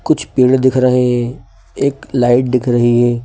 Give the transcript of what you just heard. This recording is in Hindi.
कुछ पेड़ दिख रहे हैं एक लाइट दिख रही है।